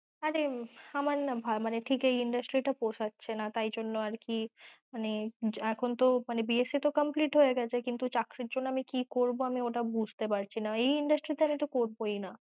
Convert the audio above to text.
আরে আমার না মানে ঠিক এই industry টা পোশাচ্ছে না তাই জন্যে আর কি, এখন তো মানে BSC তো complete হয়েগেছে কিন্তু চাকরির জন্য কি করব আমি বুঝতে পারছি না, এই industry তে তো আমি করবই না।